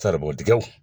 Saribɔn tigɛw